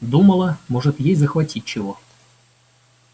думала может ей захватить чего